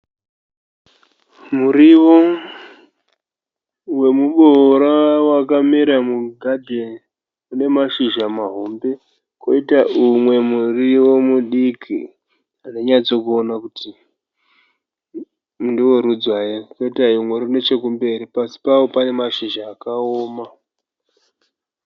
Muriwo, wemubora wakamera mugadenhi , une shizha mahombe ,koita umwe muriwo mudiki .Handinyatso ona kuti ndewe rudzi hwayi. Koitawo umwe uri neche kumberi. Pasi pawo pane mashizha akaoma.